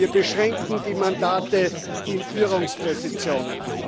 Wir beschränken die Mandate in Führungspositionen.